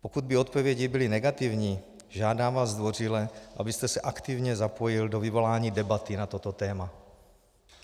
Pokud by odpovědi byly negativní, žádám vás zdvořile, abyste se aktivně zapojil do vyvolání debaty na toto téma.